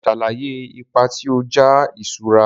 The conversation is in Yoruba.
Sàlàyé ipa ti ọja iṣura.